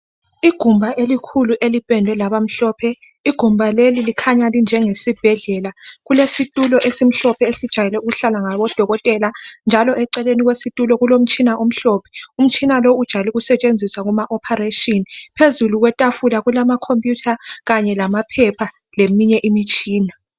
Igumbi elikhulu elipendwe labamhlophe. Igumbi leli likhanya linje ngesibhedlela. Kulesitulo esimhlophe esijwayele ukuhlalwa ngodokotela njalo eceleni kwesitulo kulomtshina omhlophe. Umtshina lo unjayele ukusetshenziswa kuma ophareshini. Phezulu kwetafula kulamakhoputha khanye lamaphepha leminye imitshina.